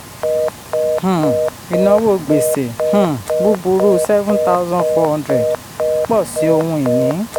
um ìnáwó gbèsè um búburú seven thousand four hunndred pọ̀ sí ohun ìní